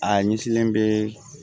A ɲɛsilen bɛ